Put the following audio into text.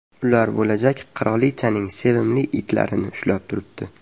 Ular bo‘lajak qirolichaning sevimli itlarini ushlab turibdi.